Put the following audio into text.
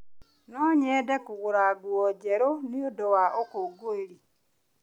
No nyende kũgũra nguo njerũ nĩ ũndũ wa ũkũngũĩri.